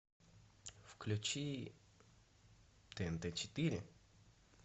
включи тнт четыре